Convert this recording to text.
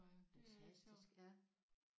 Fantastisk ja